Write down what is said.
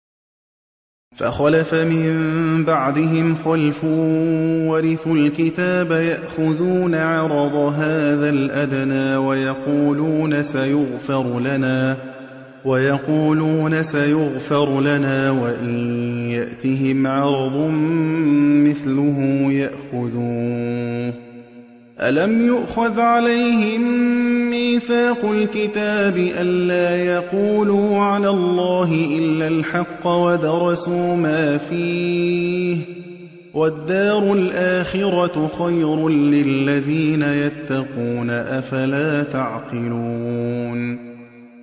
فَخَلَفَ مِن بَعْدِهِمْ خَلْفٌ وَرِثُوا الْكِتَابَ يَأْخُذُونَ عَرَضَ هَٰذَا الْأَدْنَىٰ وَيَقُولُونَ سَيُغْفَرُ لَنَا وَإِن يَأْتِهِمْ عَرَضٌ مِّثْلُهُ يَأْخُذُوهُ ۚ أَلَمْ يُؤْخَذْ عَلَيْهِم مِّيثَاقُ الْكِتَابِ أَن لَّا يَقُولُوا عَلَى اللَّهِ إِلَّا الْحَقَّ وَدَرَسُوا مَا فِيهِ ۗ وَالدَّارُ الْآخِرَةُ خَيْرٌ لِّلَّذِينَ يَتَّقُونَ ۗ أَفَلَا تَعْقِلُونَ